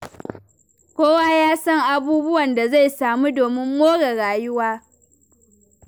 Kowa ya san abubuwan da zai samu domin more rayuwa.